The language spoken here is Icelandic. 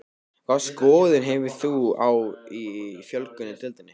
Hvaða skoðun hefur þú á fjölgun í deildinni?